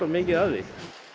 mikið af því